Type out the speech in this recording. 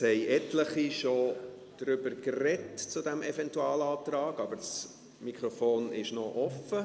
Es haben etliche schon über diesen Eventualantrag gesprochen, aber das Mikrofon ist noch offen.